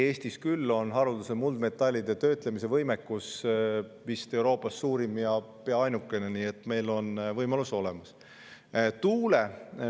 Eestis on küll haruldaste muldmetallide töötlemise võimekus vist Euroopa suurim ja pea ainukene, nii et meil on olemas võimalus.